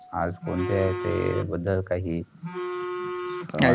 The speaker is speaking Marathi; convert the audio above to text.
आज कोणते तेय बदल काहीही.